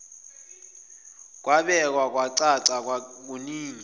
kwabekwa kwacaca kuningi